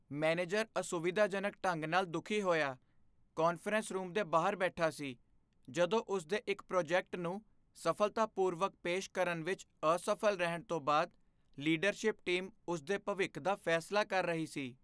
Manager ਅਸੁਵਿਧਾਜਨਕ ਢੰਗ ਨਾਲ ਦੁੱਖੀ ਹੋਇਆ ਕਾਨਫਰੰਸ ਰੂਮ ਦੇ ਬਾਹਰ ਬੈਠਾ ਸੀ ਜਦੋਂ ਉਸ ਦੇ ਇੱਕ ਪ੍ਰੋਜੈਕਟ ਨੂੰ ਸਫ਼ਲਤਾਪੂਰਵਕ ਪੇਸ਼ ਕਰਨ ਵਿੱਚ ਅਸਫ਼ਲ ਰਹਿਣ ਤੋਂ ਬਾਅਦ ਲੀਡਰਸ਼ਿਪ ਟੀਮ ਉਸ ਦੇ ਭਵਿੱਖ ਦਾ ਫ਼ੈਸਲਾ ਕਰ ਰਹੀ ਸੀ।